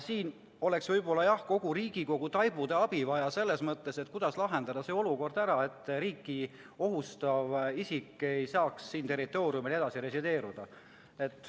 Siin oleks võib-olla kogu Riigikogu taibude abi vaja, et mõelda, kuidas see olukord lahendada, et riiki ohustav isik ei saaks siin territooriumil edasi resideerida.